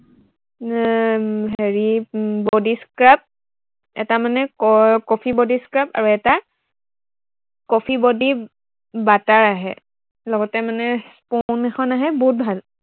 এৰ হেৰি উম body scrub, এটা মানে ক, কফি body scrub আৰু এটা কফি body, butter আহে লগতে মানে comb এখন আহে বহুত ভাল